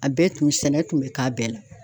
A bɛɛ tun sɛnɛ tun bɛ k'a bɛɛ la.